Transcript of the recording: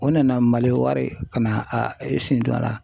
O nana, maliwari ka na a e sen don a la